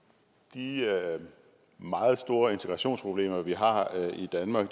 de meget store integrationsproblemer vi har